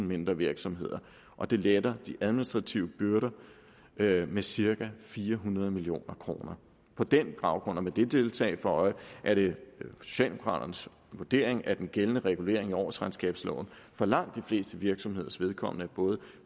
mindre virksomheder og det letter de administrative byrder med med cirka fire hundrede million kroner på den baggrund og med det tiltag for øje er det socialdemokraternes vurdering at den gældende regulering i årsregnskabsloven for langt de fleste virksomheders vedkommende er både